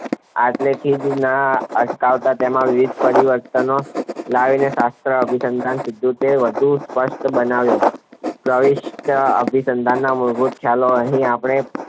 આટલે થીજ ના અટકાવતા તેમાં વિવિધ પરિવર્તનો લાવીને શાસ્ત્ર અભિસિદ્ધાંત સનદર્ભે વધુ સ્પષ્ટ બનાવ્યો પ્રવિષ્ટ અભીસંધાન મૂળભૂત ખ્યાલો અહીં આપણે